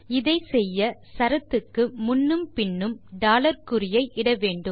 இதை செய்ய சரத்துக்கு முன்னும் பின்னும் குறியை இட வேண்டும்